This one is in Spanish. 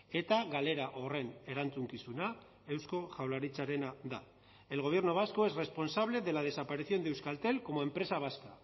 eta galera horren erantzukizuna eusko jaurlaritzarena da el gobierno vasco es responsable de la desaparición de euskaltel como empresa vasca